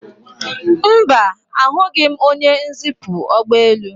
Mba, ahụghị m onye nzipu ụgbọelu